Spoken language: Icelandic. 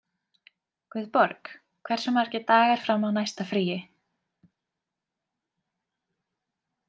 Guðborg, hversu margir dagar fram að næsta fríi?